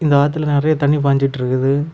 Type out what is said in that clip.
இந்த ஆத்துல நெறைய தண்ணி பாஞ்சுட்டு இருக்குது.